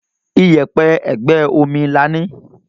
Iyẹ̀pẹ̀ ègbé omi là ní